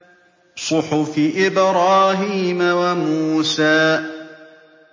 صُحُفِ إِبْرَاهِيمَ وَمُوسَىٰ